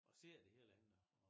Og ser det hele